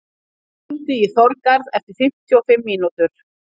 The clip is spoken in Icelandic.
Arja, hringdu í Þorgarð eftir fimmtíu og fimm mínútur.